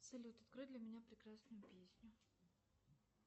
салют открой для меня прекрасную песню